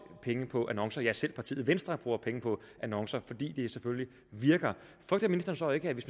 penge på annoncer selv partiet venstre bruger penge på annoncer fordi de selvfølgelig virker og frygter ministeren så ikke at hvis